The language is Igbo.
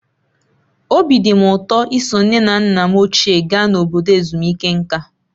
Obi dị m ụtọ iso nne na nna m ochie gaa na obodo ezumike nka.